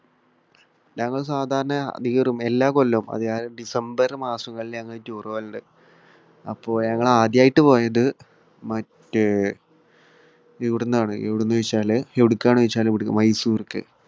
ഞങ്ങൾ സാധാരണ എല്ലാ കൊല്ലവും ഡിസംബർ മാസത്തിൽ ഞങ്ങൾ tour പോകൽ ഉണ്ട്. അപ്പോൾ ഞങ്ങൾ ആദ്യമായിട്ട് പോയത് മറ്റ് ഇവിടുന്നാണ്. എവിടുന്നാണെന്നു ചോദിച്ചാൽ, എവിടേയ്ക്കാണെന്ന് ചോദിച്ചാൽ ഇവിടേയ്ക്ക്, മൈസൂർക്ക്.